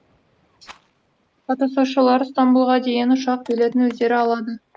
қатысушылар стамбұлға дейінгі ұшақ билетін өздері алады